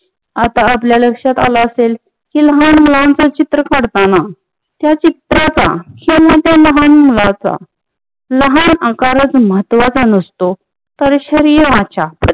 आता आपल्या लक्षात आल असेल की लहान मुलांच चित्र काढताना त्या चित्राचा किंवा त्या लहान मुलाच्या आकराच्या लहान आकार म्हत्त्वाचा नसतो तर शरीराच्या